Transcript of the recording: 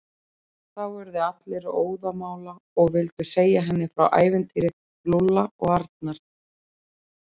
Þá urðu allir óðamála og vildu segja henni frá ævintýri Lúlla og Arnar.